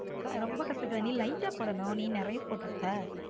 ரொம்ப கசக்குதா நீ lite டா போடணும் நீ நிறைய போட்டு இருப்ப.